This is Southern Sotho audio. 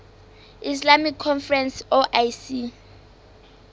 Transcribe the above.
islamic conference oic